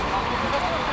Nə?